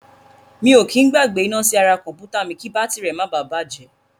Mi ò kí í gbàgbé iná sí ara kọ̀m̀pútà mi kí bátìrì rẹ̀ máa bà á bàjẹ́.